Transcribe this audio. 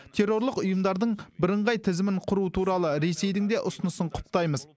террорлық ұйымдардың бірыңғай тізімін құру туралы ресейдің де ұсынысын құптаймыз